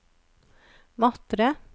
Matre